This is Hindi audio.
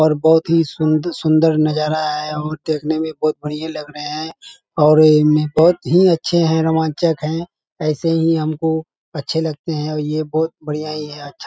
और बहोत ही सुन्दर-सुन्दर नजारा है और देखने में बहोत बढ़िया लग रहे हैं और इनमें बहोत ही अच्छे हैं रोमांचक हैं ऐसे ही हमको अच्छे लगते हैं और ये बहोत बढ़ियां ही है अच्छा --